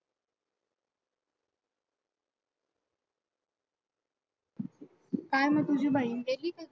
काय मग तुझी बहीण गेली काय?